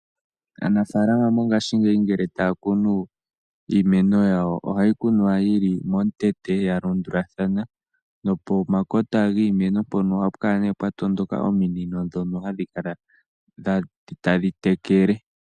Aanafalama mongashingeyi ngele taya kunu iimeno yawo ohayi kunwa yili momukweyo yalandulathano nopomakota giimeno ohapu kala nee pwatondoka ominino dhono hadhi kala tadhi tekele.